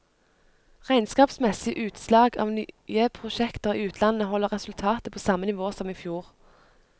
Regnskapsmessige utslag av nye prosjekter i utlandet, holder resultatet på samme nivå som i fjor.